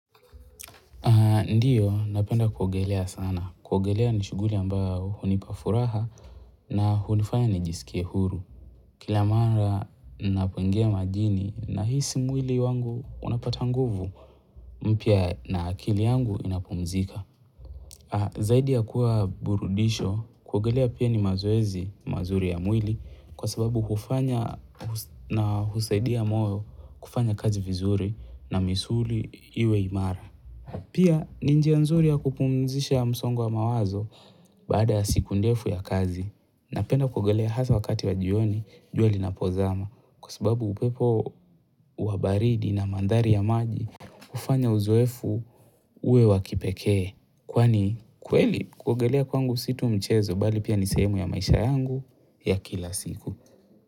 Ndiyo, napenda kuogelea sana. Kuogelea ni shughuli ambayo hunipa furaha na hunifanya ni jisikie huru. Kila mara ninapoingia majini nahisi mwili wangu unapata nguvu mpya na akili yangu inapumzika. Zaidi ya kuwa burudisho, kuogelea pia ni mazoezi mazuri ya mwili kwa sababu hufanya na husaidia moyo kufanya kazi vizuri na misuli iwe imara. Pia ni njia nzuri ya kupumzisha msongo wa mawazo baada ya siku ndefu ya kazi napenda kuogelea hasa wakati wa jioni jua linapozama kwa sababu upepo wabaridi na mandari ya maji hufanya uzoefu uwe wakipekee kwani kweli kuogelea kwangu si tu mchezo bali pia ni sehemu ya maisha yangu ya kila siku.